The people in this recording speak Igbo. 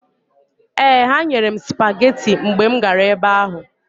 Ee, ha nyere sụpageti mgbe m gara ebe ahụ.